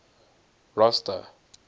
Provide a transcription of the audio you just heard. rosta